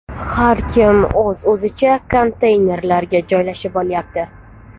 Har kim o‘z-o‘zicha konteynerlarga joylashib olyapti.